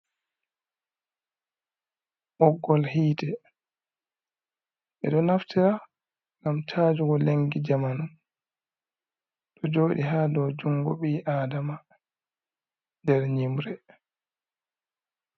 Ɓoggol hiite: Ɓeɗo naftira ngam cajugo lengi jamanu. Ɗo joɗi haa dow jungo ɓii adama nder nyimre.